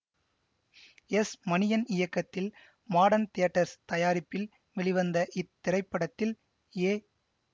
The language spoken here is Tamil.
எஸ் மணியன் இயக்கத்தில் மாடர்ன் தியேட்டர்ஸ் தயாரிப்பில் வெளிவந்த இத்திரைப்படத்தில் ஏ